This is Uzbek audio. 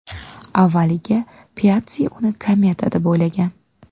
Avvaliga Piatssi uni kometa deb o‘ylagan.